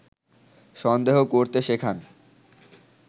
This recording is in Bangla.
সন্দেহ করতে শেখান